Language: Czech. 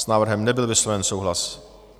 S návrhem nebyl vysloven souhlas.